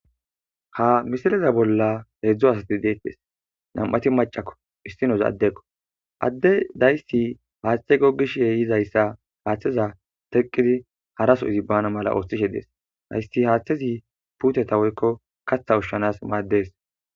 ha misileza bolla heedzdzo asati deettes nam7ati macakko issinoza addekko adde dayssi paaththe gogishe yizayssa haaththeza teqqidi haraso izibbana mala ooththishe dees haysi haaththezi puuteta woykko katha ushshanas maaddees